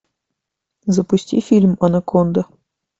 запусти фильм анаконда